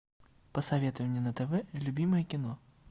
посоветуй мне на тв любимое кино